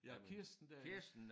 Ja Kirsten der